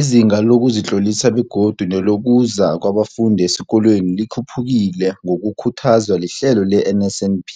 Izinga lokuzitlolisa begodu nelokuza kwabafundi esikolweni likhuphukile ngokukhuthazwa lihlelo le-NSNP.